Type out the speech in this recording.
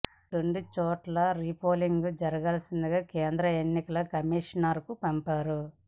ఈ రెండు చోట్లా రీ పోలింగ్ జరపాల్సిందిగా కేంద్ర ఎన్నికల కమిషన్కు పంపించారు